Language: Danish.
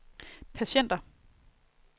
patienter